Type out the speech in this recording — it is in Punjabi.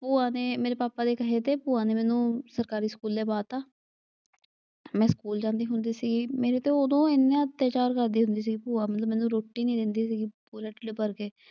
ਭੂਆ ਨੇ ਮੇਰੇ ਪਾਪਾ ਦੇ ਕਹੇ ਤੇ ਭੂਆ ਨੇ ਮੈਨੂੰ ਸਰਕਾਰੀ ਸਕੂਲੇ ਪਾ ਤਾ ਮੈਂ ਸਕੂਲ ਜਾਂਦੀ ਹੁੰਦੀ ਸੀ। ਮੇਰੇ ਤੇ ਐਨਾ ਅੱਤਿਆਚਾਰ ਕਰਦੀ ਹੁੰਦੀ ਸੀ ਭੂਆ ਮੈਨੂੰ ਰੋਟੀ ਨੀ ਦਿੰਦੀ ਸੀ ਹੁੰਦੀ . ਕਰਕੇ।